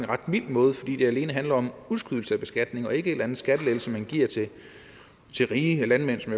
mild måde fordi det alene handler om udskydelse af beskatning og ikke en eller anden skattelettelse man giver til rige landmænd som